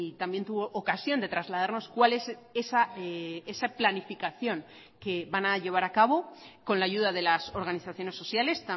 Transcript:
también tuvo ocasión de trasladarnos cuál es esa planificación que van a llevar a cabo con la ayuda de las organizaciones sociales